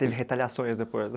Teve retaliações depois?